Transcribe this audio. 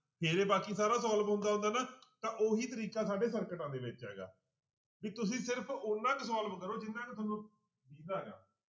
ਫਿਰ ਬਾਕੀ ਸਾਰਾ solve ਹੁੰਦਾ ਹੁੰਦਾ ਨਾ ਤਾਂ ਉਹੀ ਤਰੀਕਾ ਸਾਡੇ ਸਰਕਟਾਂ ਦੇ ਵਿੱਚ ਹੈਗਾ ਵੀ ਤੁਸੀਂ ਸਿਰਫ਼ ਓਨਾ ਕੁ solve ਕਰੋ ਜਿੰਨਾ ਕੁ ਤੁਹਾਨੂੰ ਦਿੰਹਦਾ ਗਾ।